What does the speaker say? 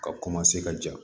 Ka ka ja